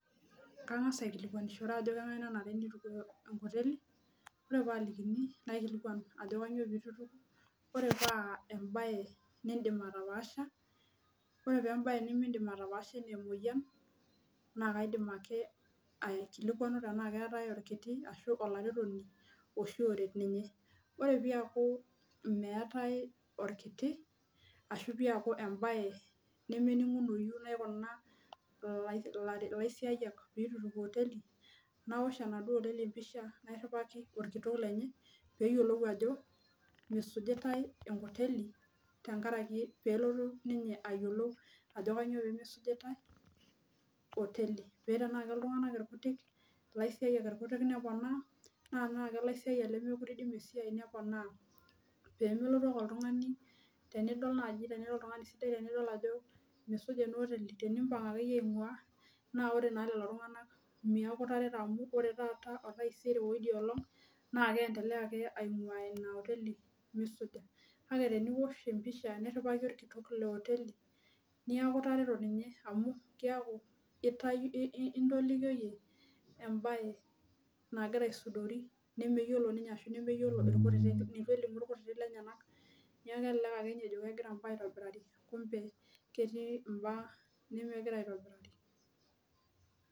Kang'as aikilikuanu ajo keng'ae nanane neituku enkoteli ore paakini naikilikuan ajo kanyioo peitu eituku ore paa embaye nintim ataapaasha ore paa embaye nimindim atapaasha enaa emoyian naa kaidim ake aikilikuanu tenaa keetai orkiti ashuu olaretoni oshi oret ninye ore peeku meetai orkiti ashuu peeku embaye nemening'unoyu naikuna ilaisiayiak peetu eituku hoteli nawosh enaduo hoteli embisha nairiwaki orkitok lenye peeyiolou ajo meisujitai enkoteli tenkaraki peelotu ninye ayiolou ajo kanyioo peemeisujitai oteli paa tenaa ilaisiayiak irkutik neponaa naa tenaa kelaisiayiak neponaa peemelotu ake oltung'ani tenidol naaji tenira oltung'ani sidai meisuja ena oteli nimbang akeyie aing'uaa naa ore ake ping'ua lelo tung'anak meeku itareto amu ore taata otaiser oidia olong naa keendelea ake aing'ua ina oteli meisuja kake teniwosh empisha niriwaki orkitok le oteli niaku itareto ninye amu keeaku intolikioyie embaye nagira aisudori nemeyiolo ninye ashuu nmeyiolo irkutitik lenyenak neeku kelelek ake ninye ejo kegira imbaa aitobiraki kumbe ketii imbaa nemegira aitobiraki.